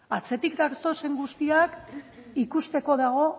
atzetik datozen guztiak ikusteko dago